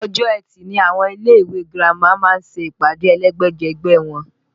Ọjọ́ etì ni àwọn ilé ìwé girama máa ń ṣe ìpàdé ẹlẹ́gbẹ́jẹgbẹ́ wọn